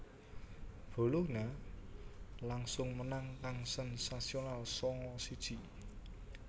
Bologna langsung menang kang sensasional sanga siji